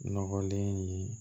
Nɔgɔlen in